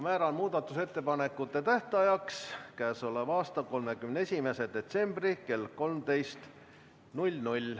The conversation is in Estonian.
Määran muudatusettepanekute tähtajaks k.a 31. detsembri kell 13.